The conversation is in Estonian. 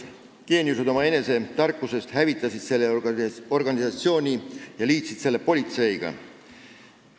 Geeniused omaenese tarkusest hävitasid selle organisatsiooni, kui nad liitsid selle politseiga.